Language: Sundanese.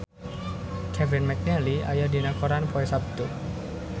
Kevin McNally aya dina koran poe Saptu